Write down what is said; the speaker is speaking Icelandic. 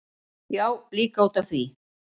Já, líka út af því.